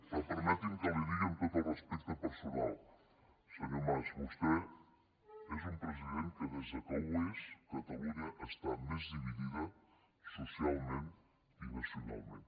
però permeti’m que li digui amb tot el respecte personal senyor mas vostè és un president que des que ho és catalunya està més dividida socialment i nacionalment